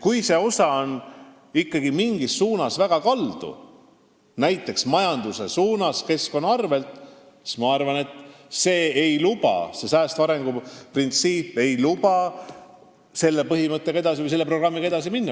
Kui see osa on ikkagi mingis suunas väga kaldu, näiteks majanduse suunas keskkonna arvel, siis ma arvan, et säästva arengu printsiip ei luba selle projektiga edasi minna.